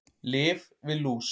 Lyf við lús